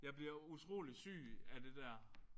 Jeg bliver utrolig syg at det der